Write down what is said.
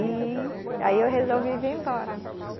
E aí eu resolvi vir embora.